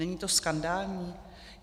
Není to skandální?